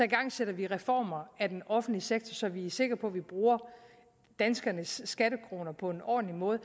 igangsætter vi reformer af den offentlige sektor så vi er sikre på at vi bruger danskernes skattekroner på en ordentlig måde